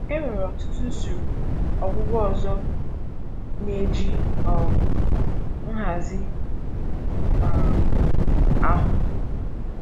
Enwere ọtụtụ usoro ọgwụgwọ ọzọ na-eji um nhazi um ahụ.